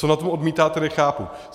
Co na tom odmítáte, nechápu.